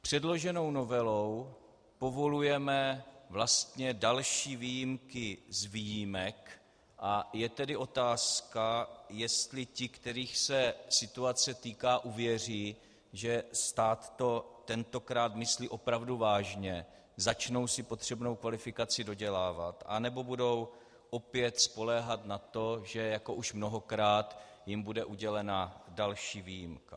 Předloženou novelou povolujeme vlastně další výjimky z výjimek, a je tedy otázka, jestli ti, kterých se situace týká, uvěří, že stát to tentokrát myslí opravdu vážně, začnou si potřebnou kvalifikaci dodělávat, anebo budou opět spoléhat na to, že jako už mnohokrát jim bude udělena další výjimka.